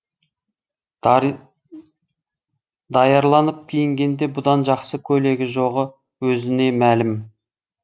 даярланып киінгенде бұдан жақсы көйлегі жоғы өзіне мәлім